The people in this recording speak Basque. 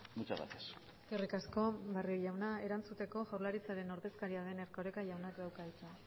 muchas gracias eskerrik asko barrio jauna erantzuteko jaurlaritzaren ordezkaria den erkoreka jaunak dauka hitza